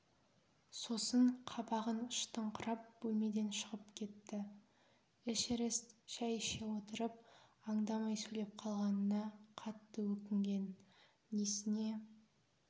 сосын қабағын шытыңқырап бөлмеден шығып кетті эшерест шай іше отырып аңдамай сөйлеп қалғанына қатты өкінген несіне